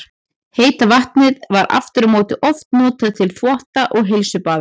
Heita vatnið var aftur á móti oft notað til þvotta og heilsubaða.